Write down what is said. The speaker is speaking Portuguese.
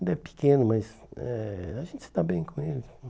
Ainda é pequeno, mas eh a gente se dá bem com ele.